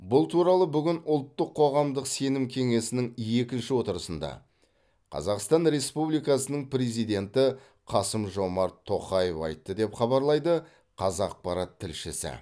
бұл туралы бүгін ұлттық қоғамдық сенім кеңесінің екінші отырысында қазақстан республикасының президенті қасым жомарт тоқаев айтты деп хабарлайды қазақпарат тілшісі